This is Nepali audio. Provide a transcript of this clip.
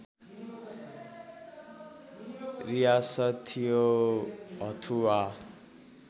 रियासत थियो हथुआ